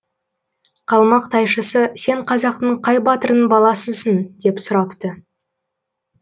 қалмақ тайшысы сен қазақтың қай батырының баласысың деп сұрапты